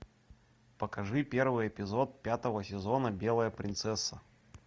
покажи первый эпизод пятого сезона белая принцесса